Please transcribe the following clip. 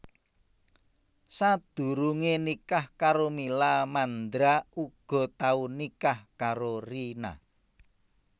Sadurungé nikah karo Mila Mandra uga tau nikah karo Rina